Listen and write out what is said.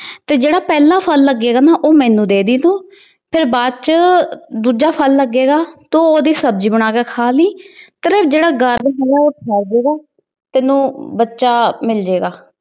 ਤੇ ਜਿਹੜਾ ਪਹਿਲਾ ਫਲ ਲੱਗੇਗਾ ਨਾ ਉਹ ਮੈਨੂੰ ਦੇਦੀ ਤੂੰ। ਫਿਰ ਬਾਅਦ ਚ ਦੂਜਾ ਫਲ ਲੱਗੇਗਾ, ਤੇ ਉਹਦੀ ਸਬਜੀ ਬਣਾ ਕੇ ਖਾ ਲਈ। ਜਿਹੜਾ ਤੈਨੂੰ ਬੱਚਾ ਮਿਲਜੇਗਾ।